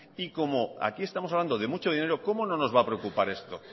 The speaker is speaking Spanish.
y como aquí estamos hablando de mucho dinero cómo no nos va a preocupar esto